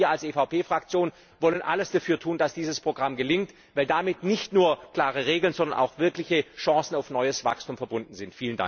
Aber wir als EVP Fraktion wollen alles dafür tun, dass dieses Programm gelingt, weil damit nicht nur klare Regeln, sondern auch wirkliche Chancen auf neues Wachstum verbunden sind.